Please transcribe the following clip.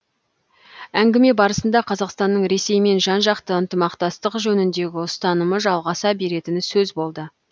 әңгіме барысында қазақстанның ресеймен жан жақты ынтымақтастық жөніндегі ұстанымы жалғаса беретіні сөз болды